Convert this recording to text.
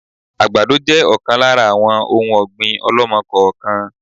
Àgbàdo jẹ ọ̀kan lára àwọn òun ọ̀gbín ọ̀lọ́mọ-kọọ-kan